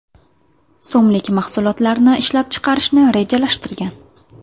so‘mlik mahsulotlarni ishlab chiqarishni rejalashtirgan.